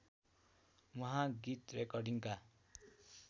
उहाँ गीत रेकर्डिङका